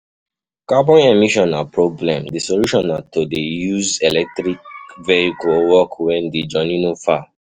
Carbon emission na problem, di solution na to use electric vehicles or walk when di journey no far